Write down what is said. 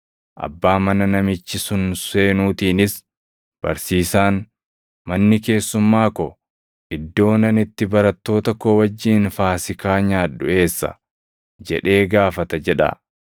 Abbaa mana namichi sun seenuutiinis, ‘Barsiisaan, manni keessumaa ko, iddoon ani itti barattoota koo wajjin Faasiikaa nyaadhu eessa? jedhee gaafata’ jedhaa.